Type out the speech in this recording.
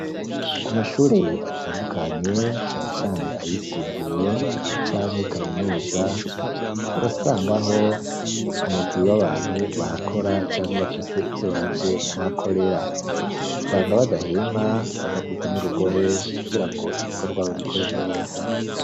Ku mashure atandukanye, cane cane ayisumbuye canke kaminuza, urasangaho, umugwi w'abantu bahakora, canke bafise ivyo baje kuhakorera; usanga badahema, badakubita n'urugohe, kugirango ibikorwa babikore neza.